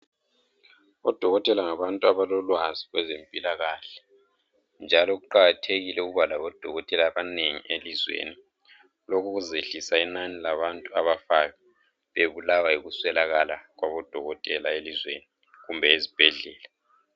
Odokotela ngabantu abalolwazi kwabezempilakahle njalo kuqakathekile ukuba labo empilweni lokhu kuzehlisa inani labantu abafayo bebulawa yikuswelakala kwabo dokotela elizweni kumbe ezibhedlela.